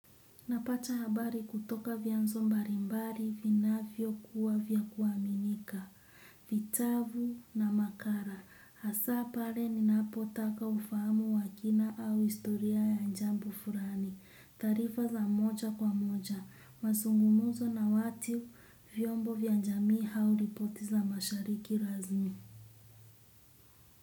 Napata habari kutoka vyanzo mbalimbali vinavyo kuwa vya kuaminika, vitabu na makala, hasa pale ninapotaka ufahamu wa kina au historia ya jambo fulani, taarifa za moja kwa moja, mazungumzo na watu vyombo vya jamii au ripoti za mashariki razmi.